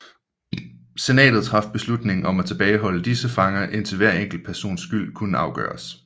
Senatet traf beslutning om at tilbageholde disse fanger indtil hver enkelt persons skyld kunne afgøres